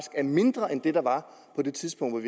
er mindre end det der var på det tidspunkt